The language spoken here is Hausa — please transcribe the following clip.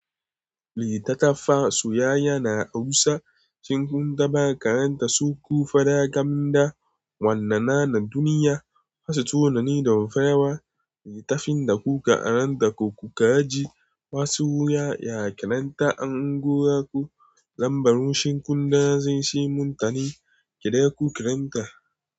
Littattafan soyayya na Hausa, shin kun taɓa karanta su? Ku faɗa gam da wannan nan na duniya, masu tunani da rufe rawa. Littafin da kuka karanta ko kuka ji masu wuya ya kiranta an gora ku, lambar ku shinkuna zai yi muntani. Kira ku kiranta.